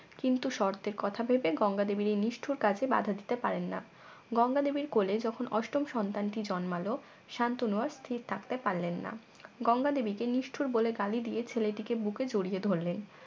কিন্তু শর্তের কথা ভেবে গঙ্গা দেবীর এই নিষ্ঠুর কাজে বাধা দিতে পারেন না গঙ্গা দেবীর কোলে যখন অষ্টম সন্তানটি জন্মালে শান্তনু আর স্থির থাকতে পারলেন না গঙ্গা দেবীকে নিষ্ঠুর বলে গালি দিয়ে ছেলেটিকে বুকে জড়িয়ে ধরলেন